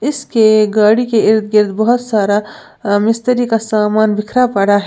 इसके गाड़ी के इर्द गिर्द बहोत सारा मिस्त्री का सामान बिखरा पड़ा है।